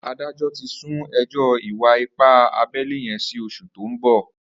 Àdájọ̀ ti sùn ẹjọ ìwà ìpá àbẹlé yèn si óṣú tó n bọ